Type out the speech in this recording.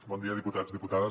bon dia diputats i diputades